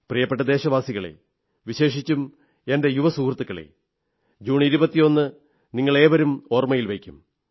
പ്രിയപ്പെട്ട ദേശവാസികളേ വിശേഷിച്ചും എന്റെ യുവസുഹൃത്തുക്കളേ ജൂൺ 21 നിങ്ങളേവരും ഓർമ്മയിൽ വയ്ക്കും